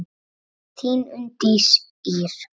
Þín Unndís Ýr.